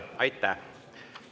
Aitäh!